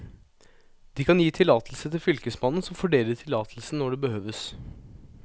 De kan gi tillatelse til fylkesmannen, som fordeler tillatelsen når det behøves.